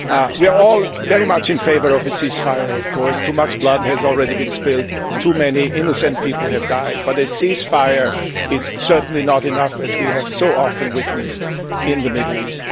We are all very much in favour of a ceasefire, of course. Too much blood has already been spilled, too many innocent people have died, but a ceasefire is certainly not enough, as we have so often witnessed in the Middle East.